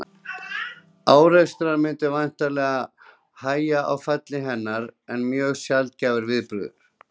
Árekstrar myndu væntanlega hægja á falli hennar sem er mjög sjaldgæfur viðburður.